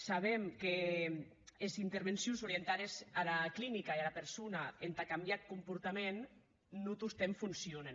sabem qu’es intervencions orientades ara clinica e ara persona entà cambiar eth comportament non tostemps foncionen